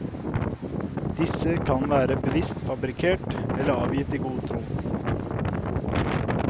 Disse kan være bevisst fabrikkert eller avgitt i god tro.